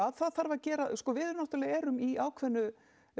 það þarf að gera við erum í ákveðnu